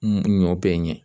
Ɲɔ bɛ ɲɛ